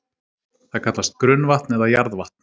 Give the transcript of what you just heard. Það kallast grunnvatn eða jarðvatn.